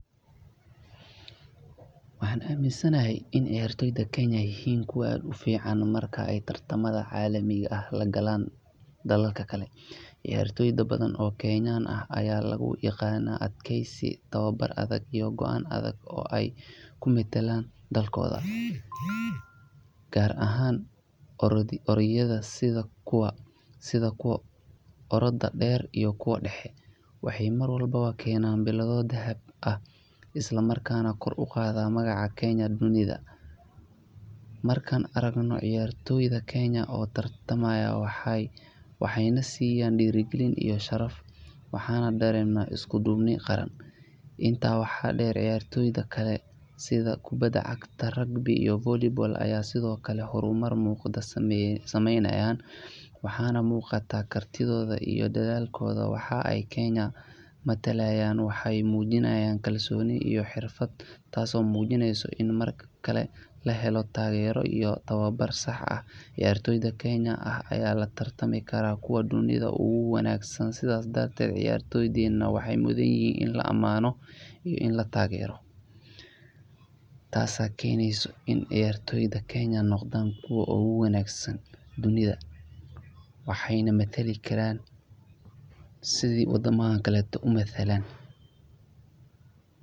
Waaxan aminsanehe ciyaartoyda Kenya yihin kuwa aad ufiican marka Ee tartamadha cadi ah lagalan dalalka kale ciyaartoda badan oo kenyan aya lagu yaqana adkeys iyo tawabar adaag iyo guamow adaag sii ey umatalan dalkoda garaahan orodyida sidha kuwa orodada deer iyo kuwa daxe waaxe mar walbo keenana biladho daahab isla markana kor uqadha magaca kenya dunida marka aragno ciyaartoyda kenya tartamayan waxa na siiyan diragilin iyo sharf waaxana darena iskudubin qaaran waaxa deer ciyaartoyda kale sidhaa kubada cagta iyo Volleyball sidhaa hormar muqda sameyna waaxan muqaata kartiidhoda iyo dadhalkoda waxeyna aa kenya matalayan waaxay mujiinayan kalsoni iyo xirfad taaso mujiineyso in markale lahelo tageero iyo tawabar saax ciyaartoyda kenya ah latartami karana kuwa dunida ugu wangsan sidhaa darted ciyaartoydena waxey mudunyihin ina laa amaano ina taagero taasa keyneyso in ciyaartoyda kenya noqdana kuwa ugu wangsan dunida waxeyna matali kara sidhaa wadamada kale umatalan.